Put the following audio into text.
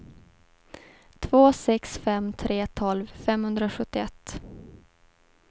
två sex fem tre tolv femhundrasjuttioett